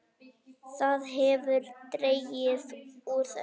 Það hefur dregið úr þessu.